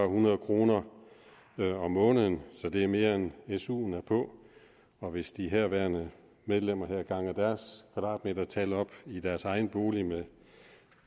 hundrede kroner om måneden det er mere end suen er på og hvis de herværende medlemmer havde ganget deres kvadratmetertal i deres egne boliger